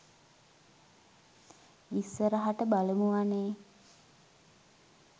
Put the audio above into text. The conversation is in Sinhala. ඉස්සරහට බලමු අනේ